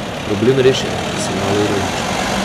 Problem rešen, če sem malo ironična.